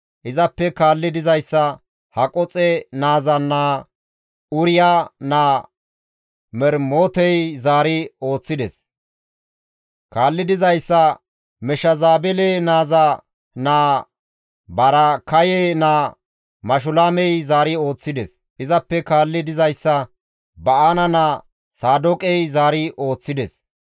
Izappe kaalli dizayssa Haqoxe naaza naa Uriya naa Mermotey zaari ooththides; kaalli dizayssa Meshezabele naaza naa Baraakaye naa Mashulaamey zaari ooththides; izappe kaalli dizayssa Ba7aana naa Saadooqey zaari ooththides.